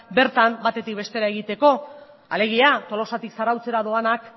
bertan batetik bestera egiteko alegia tolosatik zarautzera doanak